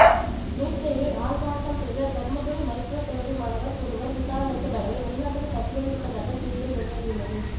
NEET தேர்வில் ஆள்மாறாட்டம் செய்த தர்மபுரி மருத்துவ கல்லூரி மாணவர் ஒருவர் விசாரணைக்கு பயந்து வெளிநாட்டுக்கு தப்பியோடிவிட்டதாக செய்திகள் வெளியாகியுள்ளது